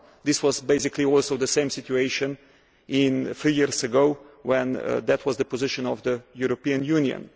1. This was basically also the situation three years ago, when that was the position of the European Union.